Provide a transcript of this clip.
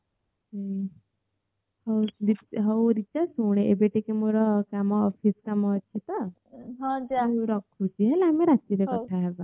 ହଉ ଏବେ ଟିକେ ମୋର କାମ office କାମ ଅଛି ତ ମୁ ରଖୁଛି ହେଲା ଆମେ ରାତିରେ କଥା ହେବା